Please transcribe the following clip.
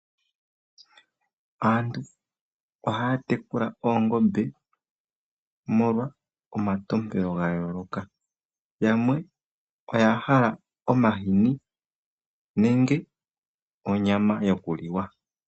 Aantu ohaya tekula oongombe molwa omatompelo ga yooloka. Yamwe oya hala omahini nenge onyama yokuliwa.